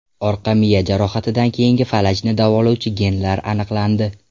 Orqa miya jarohatidan keyingi falajni davolovchi genlar aniqlandi.